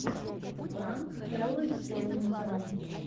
пранк хелла хэллнитера